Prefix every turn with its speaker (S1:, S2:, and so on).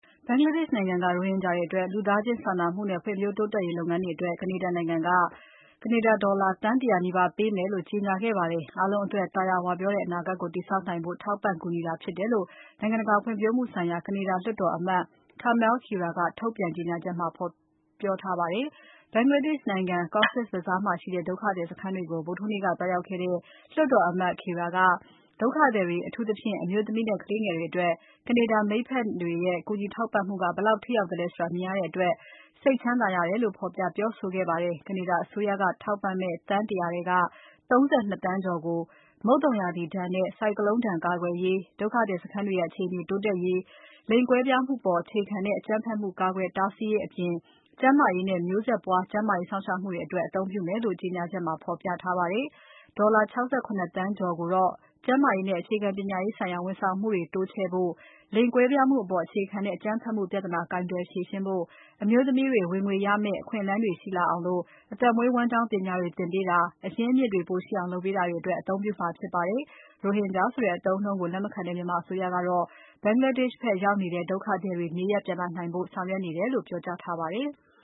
S1: ဘင်္ဂလားဒေ့ရှ် နိုင်ငံက ရိုဟင်ဂျာတွေအတွက် လူသားချင်းစာနာမှုနဲ့ ဖွံ့ဖြိုးတိုးတက်ရေးလုပ်ငန်းတွေအတွက် ကနေဒါနိုင်ငံက ကနေဒါ ဒေါ်လာသန်း ၁၀၀ နီးပါးပေးမယ်လို့ ကြေညာခဲ့ပါတယ်။ အားလုံးအတွက် သာယာဝပြောတဲ့ အနာဂတ်ကို တည်ဆောက်နိုင်ဖို့ ထောက်ပံ့ကူညီတာဖြစ်တယ်လို့ နိုင်ငံတကာဖွံ့ဖြိုးမှုဆိုင်ရာ ကနေဒါလွှတ်တော်အမတ် Kamal Khera က ထုတ်ပြန်ကြေညာချက်မှာ ဖော်ပြထားပါတယ်။ ဘင်္ဂလားဒေ့ရှ် နိုင်ငံ Cox’s Bazar မှာရှိတဲ့ ဒုက္ခသည်စခန်းတွေကို ဗုဒ္ဓဟူးနေ့က သွားရောက်ခဲ့တဲ့ လွှတ်တော်အမတ် Khera ကဒုက္ခသည်တွေ အထူးသဖြင့် အမျိုးသမီးနဲ့ ကလေးငယ်တွေအတွက် ကနေဒါမိတ်ဖက်တွေရဲ့ ကူညီထောက်ပံ့မှုတွေက ဘယ်လောက်ထိရောက်သလဲဆိုတာ မြင်ရတဲ့အတွက် စိတ်ကြည်နူးရတယ်လို့ ဖော်ပြပြောဆိုခဲ့ပါတယ်။ ကနေဒါအစိုးရက ထောက်ပံ့မယ့် သန်း ၁၀၀ ထဲက ၃၂ သန်းကျော်ကို မုတ်သုံရာသီဒဏ်နဲ့ ဆိုင်ကလုန်းဒဏ်ကာကွယ်ရေး၊ ဒုက္ခသည်စခန်းတွေရဲ့ အခြေအနေတိုးတက်ရေး၊ လိင်ကွဲပြားမှုအပေါ် အခြေခံတဲ့ အကြမ်းဖက်မှုတွေ ကာကွယ်တားဆီးရေးအပြင်၊ ကျန်းမာရေးနဲ့ မျိုးဆက်ပွား ကျန်းမာရေးစောင့်ရှောက်မှုတွေအတွက် အသုံးပြုမယ်လို့ ကြေညာချက်ထဲမှာ ဖော်ပြထားပါတယ်။ ဒေါ်လာ ၆၇ သန်းကျော်ကိုတော့ ကျန်းမာရေးနဲ့ အခြေခံပညာရေးဆိုင်ရာ ဝန်ဆောင်မှုတွေ တိုးချဲ့ဖို့၊ လိင်ကွဲပြားမှုအပေါ် အခြေခံတဲ့ အကြမ်းဖက်မှုပြဿနာ ကိုင်တွယ်ဖြေရှင်းဖို့၊ အမျိုးသမီးတွေ ဝင်ငွေရမယ့် အခွင့်အလမ်းတွေ ရှိလာအောင် အသက်မွေးဝမ်းကျောင်းပညာတွေသင်ပေးတာ၊ အရင်းအမြစ်တွေ ပိုရှိအောင် လုပ်ပေးတာတွေအတွက် အသုံးပြုမှာဖြစ်ပါတယ်။ ရိုဟင်ဂျာဆိုတဲ့ အသုံးအနှုန်းကို လက်မခံတဲ့မြန်မာအစိုးရကတော့ ဘင်္ဂလားဒေ့ရှ် ဖက်ရောက်နေတဲ့ ဒုက္ခသည်တွေ နေရပ်ပြန်လာနိုင်ဖို့ ဆောင်ရွက်နေတယ်လို့ ပြောကြားထားပါတယ်။